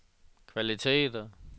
kvaliteter